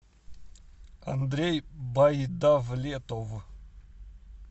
андрей байдавлетов